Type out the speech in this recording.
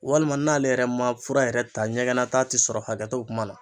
Walima n'ale yɛrɛ ma fura yɛrɛ ta ɲɛgɛn nata ti sɔrɔ hakɛ to kuma na.